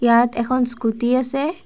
ইয়াত এখন স্কুটী আছে।